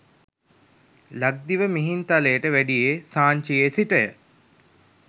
ලක්දිව මිහින්තලයට වැඩියේ සාංචියේ සිටය.